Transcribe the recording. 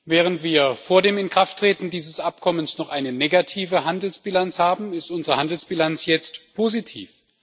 Während wir vor dem Inkrafttreten dieses Abkommens noch eine negative Handelsbilanz hatten, ist unsere Handelsbilanz jetzt positiv.